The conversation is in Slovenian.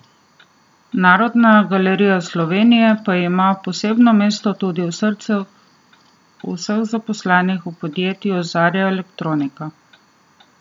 Narodna galerija Slovenije pa ima posebno mesto tudi v srcih vseh zaposlenih v podjetju Zarja Elektronika.